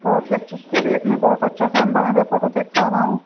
बहुत ही अच्छा भी एक मैं बहुत अच्छा शानदार यहां पे फोटो देख पा रहा हूं।